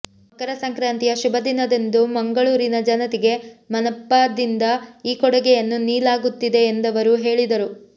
ಮಕರ ಸಂಕ್ರಾತಿಯ ಶುಭ ದಿನದಂದು ಮಂಗಳೂರಿನ ಜನತೆಗೆ ಮನಪಾದಿಂದ ಈ ಕೊಡುಗೆಯನ್ನು ನೀಲಾಗುತ್ತಿದೆ ಎಂದವರು ಹೇಳಿದರು